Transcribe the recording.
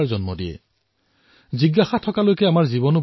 অৰ্থাৎ যেতিয়ালৈ জিজ্ঞাসা আছে তেতিয়ালৈ জীৱন আছে